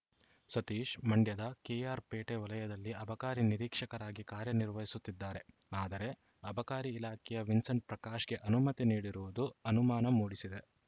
ಸತೀಶ್‌ ಮಂಡ್ಯದ ಕೆಆರ್‌ಪೇಟೆ ವಲಯದಲ್ಲಿ ಅಬಕಾರಿ ನಿರೀಕ್ಷಕರಾಗಿ ಕಾರ್ಯ ನಿರ್ವಹಿಸುತ್ತಿದ್ದಾರೆ ಆದರೆ ಅಬಕಾರಿ ಇಲಾಖೆಯ ವಿನ್ಸೆಂಟ್‌ ಪ್ರಕಾಶ್‌ಗೆ ಅನುಮತಿ ನೀಡಿರುವುದು ಅನುಮಾನ ಮೂಡಿಸಿದೆ